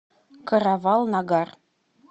каравал нагар